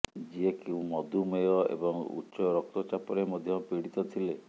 ଯିଏକି ମଧୁମେହ ଏବଂ ଉଚ୍ଚ ରକ୍ତଚାପରେ ମଧ୍ୟ ପୀଡିତ ଥିଲେ